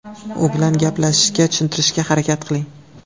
U bilan gaplashishga, tushuntirishga harakat qiling.